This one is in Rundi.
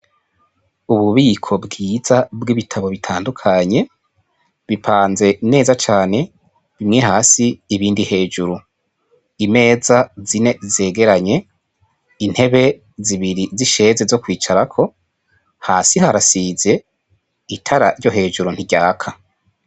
Ububiko bwiza bw'ibitabo bitandukanye bipanze neza cane, bimwe hasi ibindi hejuru, imeza zine zegeranye, intebe zibiri z'isheze zo kwicarako, hasi harasize, itara ryo hejuru ntiryaka.